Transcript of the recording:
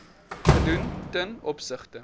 gedoen ten opsigte